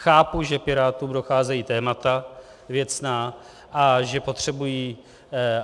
Chápu, že Pirátům docházejí témata věcná a že potřebují...